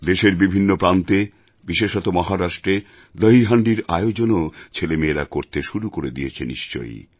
দেশের বিভিন্ন প্রান্তে বিশেষত মহারাষ্ট্রে দহীহাণ্ডির আয়োজনও ছেলেমেয়েরা করতে শুরু করে দিয়েছে নিশ্চয়ই